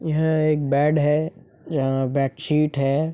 यह एक बेड है यहाँ बेडशीट है।